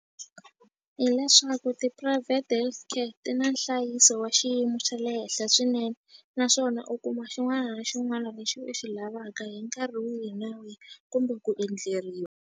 Hileswaku ti-private healthcare ti na nhlayiso wa xiyimo xa le henhla swinene naswona u kuma xin'wana na xin'wana lexi u xi lavaka hi nkarhi wihi na wihi kumbe ku endleriwa.